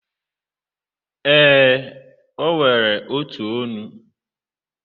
ee, o nwere otu ọnụ.